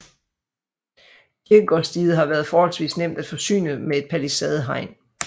Kirkegårdsdiget har været forholdsvis nemt at forsyne med et palisadehegn